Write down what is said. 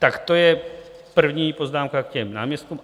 Tak to je první poznámka k těm náměstkům.